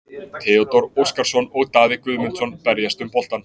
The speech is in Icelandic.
Theodór Óskarsson og Daði Guðmundsson berjast um boltann.